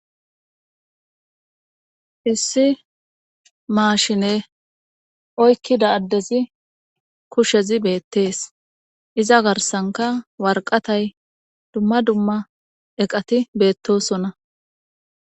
hissi maashine oykkida addezi kushezi beettees iza garsanka warqatay dumma dumma eqati beettosona